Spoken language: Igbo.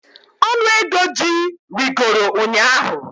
Ọnụ ego ji rịgoro ụnyahụ